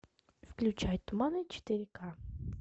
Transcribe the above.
включай туманы четыре ка